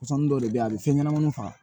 Mɔsɔn dɔw de bɛ yen a bɛ fɛn ɲɛnɛmaniw faga